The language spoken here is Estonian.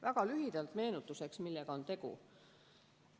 Väga lühidalt meenutuseks, millega on tegu.